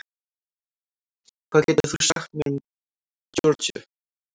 Hvað getur þú sagt mér um Georgíu?